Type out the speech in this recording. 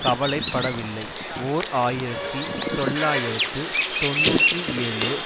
கவலை படவில்லை ஓர் ஆயிரத்தி தொள்ளாயிரத்து தொன்னூற்றி ஏழு